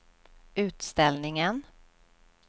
utställningen